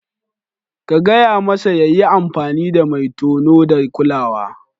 Ka gaya masa ya yi amfani da mai tono da kulawa.